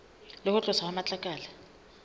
le ho tloswa ha matlakala